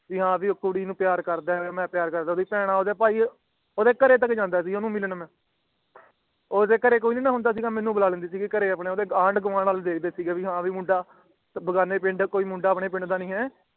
ਭੀ ਹੈ ਭੀ ਉਹ ਕੁੜੀ ਨੂੰ ਪਿਆਰ ਕਰਦਾ ਹੈ ਭੀ ਮਈ ਉਹਨੂੰ ਪਿਆਰ ਕਰਦਾ ਹਾਂ ਭੀ ਉਂਦੇ ਭੈਣ ਉਂਦੇ ਭਾਈ ਉਂਦੇ ਘਰੇ ਤਕ ਜਾਂਦਾ ਸੀਗਾ ਓਹਨੂੰ ਮਿਲਣ ਉਂਦੇ ਘਰੇ ਕੋਈ ਨੀ ਨਾ ਹੁੰਦਾ ਸੀਈ ਤੇ ਮੈਨੂੰ ਬੁਲਾ ਲੈਂਦੀ ਸੀ ਆਪਣੇ ਘਰੇ ਉਂਦੇ ਆਂਢ ਗੁਆਂਢ ਆਲੇ ਦਿਹਾੜੇ ਸੀਗੇ ਕਿ ਹੈ ਵੀ ਮੁੰਡਾ ਭੀ ਹਾਂ ਭੀ ਮੁੰਡਾ ਕੋਈ ਬਗਾਨੇ ਪਿੰਡ ਆਲਾ ਹੈ ਆਪਣੇ ਪਿੰਡ ਨੀ ਹੈ